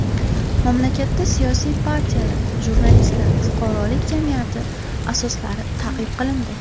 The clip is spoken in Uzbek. Mamlakatda siyosiy partiyalar, jurnalistlar, fuqarolik jamiyati asoslari ta’qib qilindi.